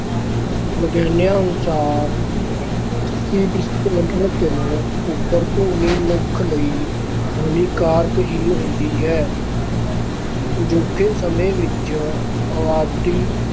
ਵਿਗਿਆਨੀਆਂ ਅਨੁਸਾਰ ਅੱਸੀ ਡੈਸੀਬਲ ਤੋਂ ਉੱਪਰ ਦੀ ਧੁਨੀ ਮਨੁੱਖ ਲਈ ਹਾਨੀਕਾਰਕ ਹੀ ਹੁੰਦੀ ਹੈ ਅਜੋਕੇ ਸਮੇਂ ਵਿੱਚ ਅਬਾਦੀ